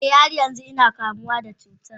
e, har yanzu ina fama da cutan.